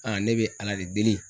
Aa ne be ala de deli